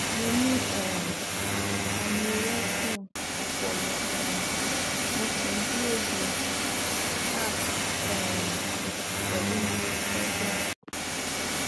mo ní um aneryusm ọpọlọ um mo sì ń dúró de appt um pẹlú neurosurgeon